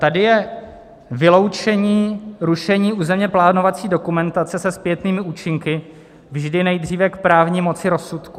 Tady je: vyloučení rušení územně plánovací dokumentace se zpětnými účinky vždy nejdříve k právní moci rozsudku.